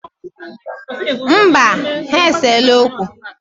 Mba, ha eseela okwu.